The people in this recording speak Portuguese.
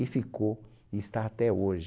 E ficou, e está até hoje.